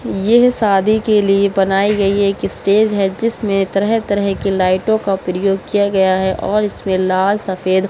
यह शादी के लिए बनायीं गयी एक स्टेज है जिसमे तरह तरह के लइटो का प्रयोग किया गया है और इसमें लाल सफ़ेद --